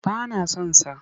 Ba na son sa.